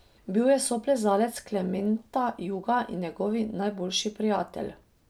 Bil je soplezalec Klementa Juga in njegov najboljši prijatelj.